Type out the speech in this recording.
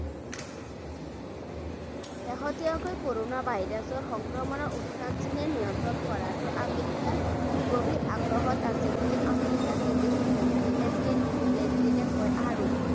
শেষতীয়াকৈ coronavirus ৰ সংক্ৰমণৰ উত্থান চীনে নিয়ন্ত্ৰণ কৰাত আমেৰিকাৰ গভীৰ আগ্ৰহত আছে বুলি আমেৰিকাৰ বিদেশী মন্ত্ৰী এণ্টনি ব্লিংকিনে কয় আৰু